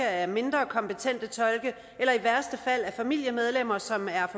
af mindre kompetente tolke eller i værste fald af familiemedlemmer som er